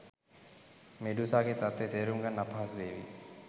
මෙඩූසාගේ තත්වය තේරුම් ගන්න අපහසුවේවි